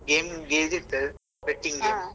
ಏನು ಇರ್ತದೆ betting game.